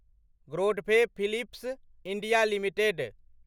Godfrey Phillips India limited